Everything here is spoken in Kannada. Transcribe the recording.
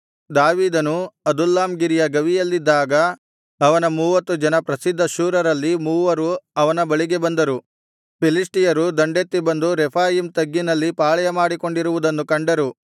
ದಾವೀದನು ಅದುಲ್ಲಾಮ್ ಗಿರಿಯ ಗವಿಯಲ್ಲಿದ್ದಾಗ ಅವನ ಮೂವತ್ತು ಜನ ಪ್ರಸಿದ್ಧಶೂರರಲ್ಲಿ ಮೂವರು ಅವನ ಬಳಿಗೆ ಬಂದರು ಫಿಲಿಷ್ಟಿಯರು ದಂಡೆತ್ತಿ ಬಂದು ರೆಫಾಯೀಮ್ ತಗ್ಗಿನಲ್ಲಿ ಪಾಳೆಯಮಾಡಿಕೊಂಡಿರುವುದನ್ನು ಕಂಡರು